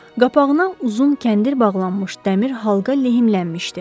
Qapağına uzun kəndir bağlanmış dəmir halqa lehimlənmişdi.